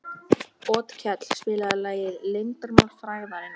Otkell, spilaðu lagið „Leyndarmál frægðarinnar“.